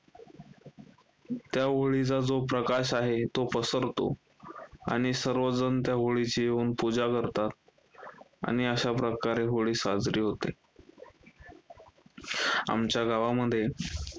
त्या होळीचा जो प्रकाश आहे तो पसरतो. आणि सर्वजण त्या होळीची येऊन पूजा करतात आणि अशाप्रकारे होळी साजरी होते. आमच्या गावामध्ये